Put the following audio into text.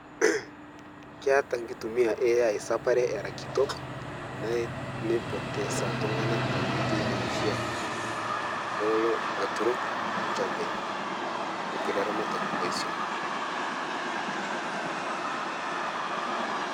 Keata nkitumiaa e AI sapare era kitok ne neipotesa ltung'anak tenkoitoi nemeisha telolo aturok lalchambai, olkule aramatak leswom.